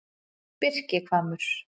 Birkihvammur